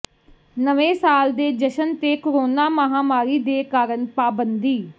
ਨਵੇਂ ਸਾਲ ਦੇ ਜਸ਼ਨ ਤੇ ਕੋਰੋਨਾ ਮਹਾਮਾਰੀ ਦੇ ਕਾਰਨ ਪਾਬੰਦੀ